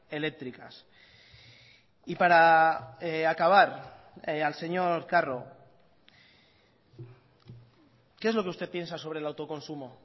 eléctricas y para acabar al señor carro qué es lo que usted piensa sobre el autoconsumo